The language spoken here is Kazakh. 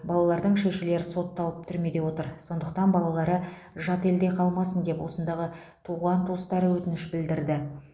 балалардың шешелері сотталып түрмеде отыр сондықтан балалары жат елде қалмасын деп осындағы туған туыстары өтініш білдірді